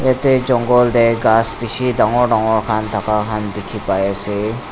yate jongle teh ghass bishi dangor dangor khan thaka khan dikhi pai ase.